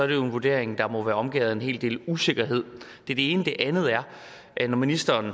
vurdering der må være omgærdet med en hel del usikkerhed det er det ene det andet er er når ministeren